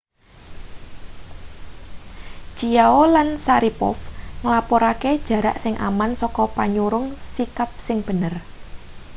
chiao lan sharipov nglapurake jarak sing aman saka panyurung sikap sing bener